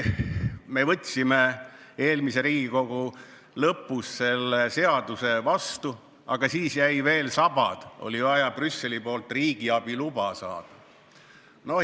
Me võtsime eelmise Riigikogu volituste aja lõpus selle seaduse vastu, aga siis jäi veel saba, oli vaja Brüsselist riigiabi luba saada.